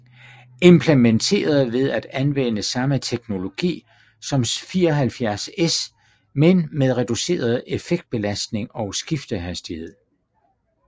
Implementeret ved at anvende samme teknologi som 74S men med reduceret effektbelastning og skiftehastighed